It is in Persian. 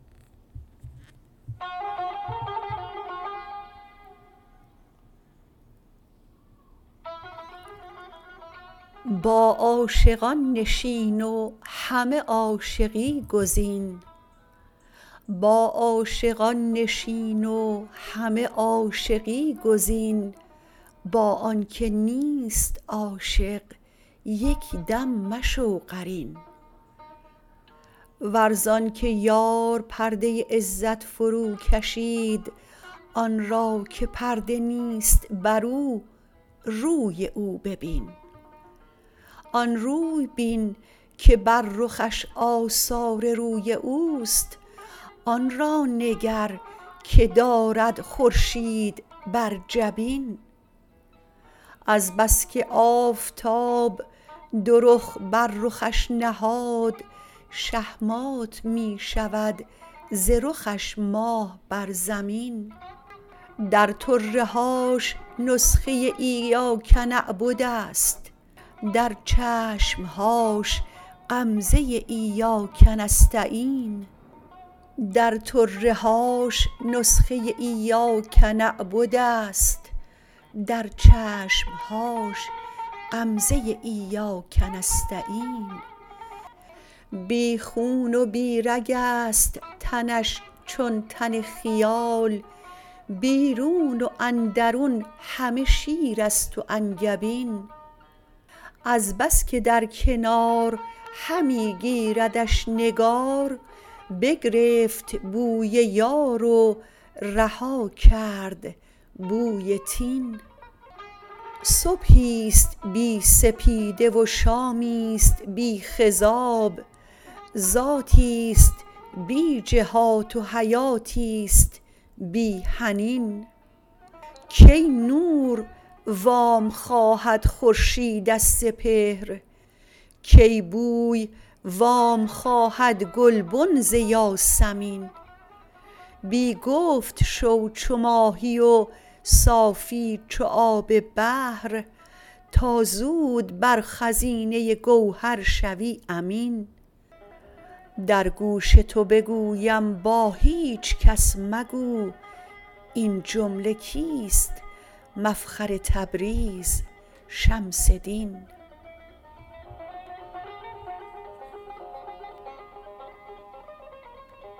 با عاشقان نشین و همه عاشقی گزین با آنک نیست عاشق یک دم مشو قرین ور ز آنک یار پرده عزت فروکشید آن را که پرده نیست برو روی او ببین آن روی بین که بر رخش آثار روی او است آن را نگر که دارد خورشید بر جبین از بس که آفتاب دو رخ بر رخش نهاد شهمات می شود ز رخش ماه بر زمین در طره هاش نسخه ایاک نعبد است در چشم هاش غمزه ایاک نستعین بی خون و بی رگ است تنش چون تن خیال بیرون و اندرون همه شیر است و انگبین از بس که در کنار همی گیردش نگار بگرفت بوی یار و رها کرد بوی طین صبحی است بی سپیده و شامی است بی خضاب ذاتی است بی جهات و حیاتی است بی حنین کی نور وام خواهد خورشید از سپهر کی بوی وام خواهد گلبن ز یاسمین بی گفت شو چو ماهی و صافی چو آب بحر تا زود بر خزینه گوهر شوی امین در گوش تو بگویم با هیچ کس مگو این جمله کیست مفخر تبریز شمس دین